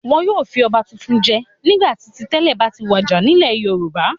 Wọn yóò fi ọba tuntun jẹ nígbà tí ti tẹ́lẹ̀ bá ti wàjà nílẹ̀ Yorùbá.